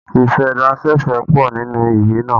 Ìfẹ́dásẹ̀fẹ̀ pọ nínú ìwé naa